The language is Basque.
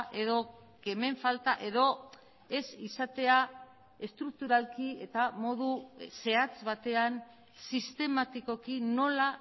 edo kemen falta edo ez izatea estrukturalki eta modu zehatz batean sistematikoki nola